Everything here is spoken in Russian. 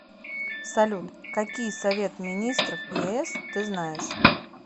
салют какие совет министров ес ты знаешь